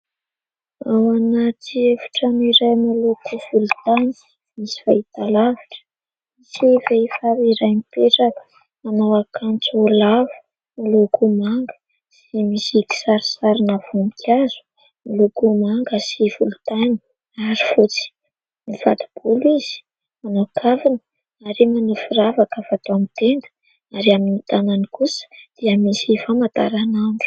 Ao anaty efitra iray miloko volontany, misy fahitalavitra sy vehivavy iray mipetraka, miakanjo lava miloko manga sy misy kisarisarina voninkazo miloko manga sy volontany ary fotsy. Mifato-bolo izy mikavina ary manao firavaka fatao amin'ny tenda ary amin'ny tanany kosa dia misy famantaranandro.